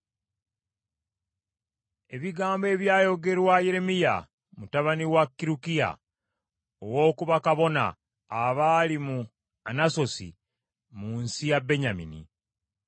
Ebigambo ebyayogerwa Yeremiya, mutabani wa Kirukiya, ow’oku bakabona abaali mu Anasosi mu nsi ya Benyamini.